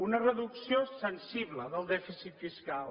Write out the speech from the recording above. una reducció sensible del dèficit fiscal